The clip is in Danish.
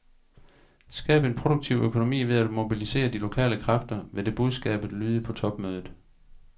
Skab en produktiv økonomi ved at mobilisere de lokale kræfter, vil det budskabet lyde på topmødet.